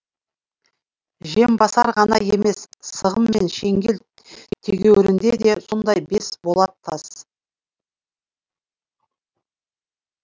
жембасар ғана емес сығым мен шеңгел тегеурінде де сондай бес болат тас